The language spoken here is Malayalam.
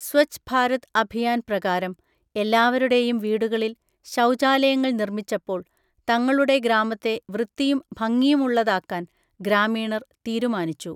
സ്വച്ഛ് ഭാരത് അഭിയാൻ പ്രകാരം എല്ലാവരുടെയും വീടുകളിൽ ശൗചാലയങ്ങൾ നിർമ്മിച്ചപ്പോൾ തങ്ങളുടെ ഗ്രാമത്തെ വൃത്തിയും ഭംഗിയുമുള്ളതാക്കാൻ ഗ്രാമീണർ തീരുമാനിച്ചു.